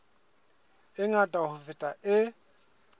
e ngata ho feta e